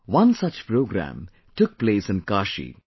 One such programme took place in Kashi